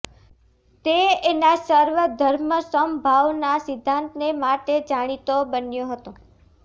તે એના સર્વધર્મ સમભાવના સિદ્ધાંતને માટે જાણીતો બન્યો હતો